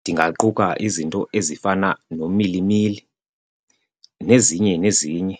ndingaquka izinto ezifana nomilimili nezinye nezinye.